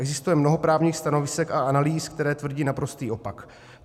Existuje mnoho právních stanovisek a analýz, které tvrdí naprostý opak.